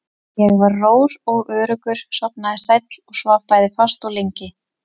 Ég var rór og öruggur, sofnaði sæll og svaf bæði fast og lengi.